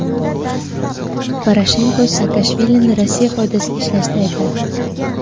Poroshenko Saakashvilini Rossiya foydasiga ishlashda aybladi.